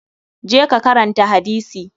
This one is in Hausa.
Je ka karanta hadisi!